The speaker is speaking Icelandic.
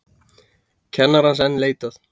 Kennarans enn leitað